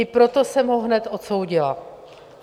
I proto jsem ho hned odsoudila.